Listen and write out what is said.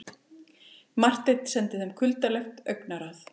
Marteinn sendi þeim kuldalegt augnaráð.